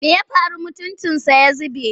Me ya faru mutuncinsa ya zube?